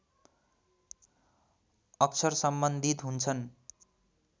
अक्षर सम्बन्धित हुन्छन्